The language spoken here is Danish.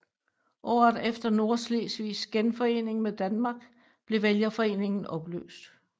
Året efter Nordslesvigs genforening med Danmark blev vælgerforeningen opløst